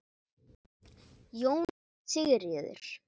Jóna Sigríður